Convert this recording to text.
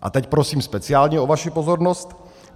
- A teď prosím speciálně o vaši pozornost.